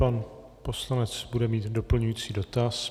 Pan poslanec bude mít doplňující dotaz.